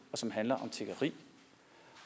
og som handler om tiggeri